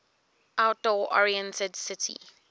outdoor oriented city